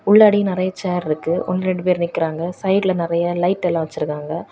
உள்ளாடி நிறைய சேர் இருக்கு ஒன்னு ரெண்டு பேர் நிக்கறாங்க சைடுல நிறைய லைட் எல்லா வச்சிருக்காங்க.